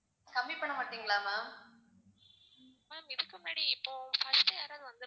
ma'am இதுக்கு முன்னாடி இப்போ first யாராவாது வந்~,